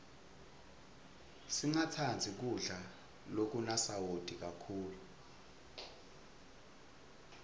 singatsandzi kudla lokunasawati kakhulu